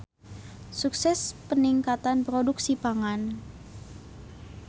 Sukses Peningkatan Produksi Pangan.